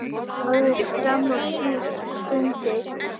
Alveg fram á síðustu stundu.